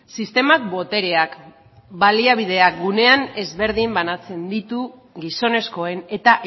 sistemak botereak baliabideak gunean ezberdin banatzen ditu gizonezkoen eta